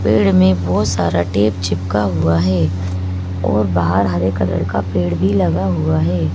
पेड़ में बहुत सारा टेप चिपका हुआ है और बाहर हरे कलर का पेड़ भी लगा हुआ है।